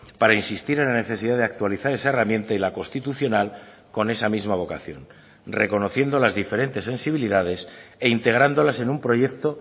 para insistir en la necesidad de actualizar esa herramienta y la constitucional con esa misma vocación reconociendo las diferentes sensibilidades e integrándolas en un proyecto